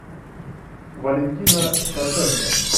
валентина стаценко